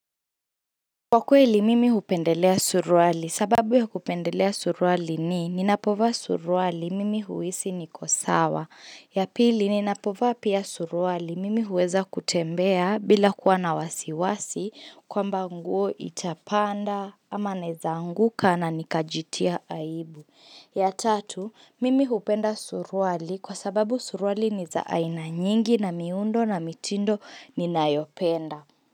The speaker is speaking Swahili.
Kwa kweli mimi hupendelea suruali, sababu ya kupendelea suruali ni, ninapovaa suruali mimi huhisi niko sawa. Ya pili, ninapovaa pia suruali mimi huweza kutembea bila kuwa na wasiwasi kwamba nguo itapanda ama naweza anguka na nikajitia aibu. Ya tatu, mimi hupenda suruali kwa sababu suruali ni za aina nyingi na miundo na mitindo ninayopenda.